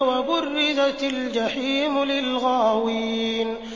وَبُرِّزَتِ الْجَحِيمُ لِلْغَاوِينَ